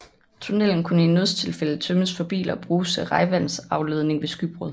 Tunnelen kunne i nødstilfælde tømmes for biler og bruges til regnvandsafledning ved skybrud